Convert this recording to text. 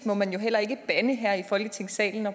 må man jo heller ikke bande her i folketingssalen